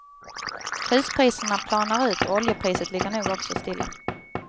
Huspriserna planar ut och oljepriset ligger nog också stilla.